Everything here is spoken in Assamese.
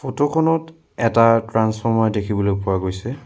ফটো খনত এটা ট্ৰান্সফ'ৰ্মাৰ দেখিবলৈ পোৱা গৈছে।